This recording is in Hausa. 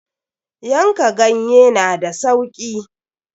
Yanka ganye na da sauki.